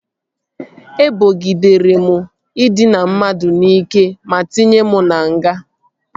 Ebogidere m ịdịna mmadụ n'ike ma tinye m na nga